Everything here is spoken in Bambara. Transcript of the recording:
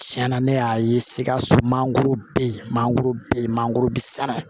Tiɲɛna ne y'a ye sikaso mangoro be yen mangoro be yen mangoro be sala